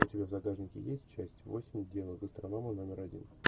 у тебя в загажнике есть часть восемь дело гастронома номер один